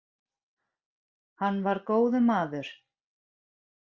Hann var góður maður